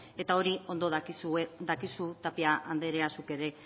eta hori ondo dakizu tapia anderea zuk ere